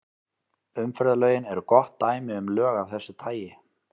Umferðarlögin eru gott dæmi um lög af þessu tagi.